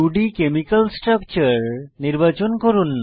2ডি chemical structure নির্বাচন করুন